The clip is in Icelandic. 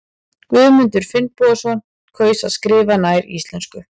Guðmundur Finnbogason kaus að skrifa nær íslensku.